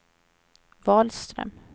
Wahlström